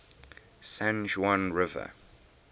san juan river